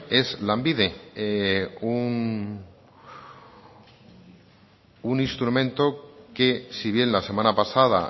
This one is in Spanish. es lanbide un instrumento que si bien la semana pasada